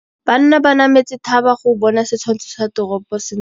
Banna ba nametse thaba go bona setshwantsho sa toropô sentle.